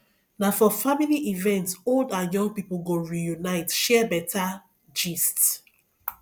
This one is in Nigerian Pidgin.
na for family event old and young people go reunite share better gist